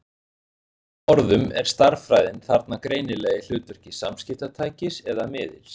Með öðrum orðum er stærðfræðin þarna greinilega í hlutverki samskiptatækis eða-miðils.